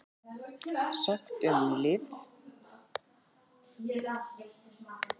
SAGT UM LIV